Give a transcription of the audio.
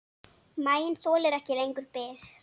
Maginn þolir ekki lengur bið.